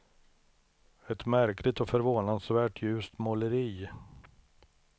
Ett märkligt och förvånansvärt ljust måleri.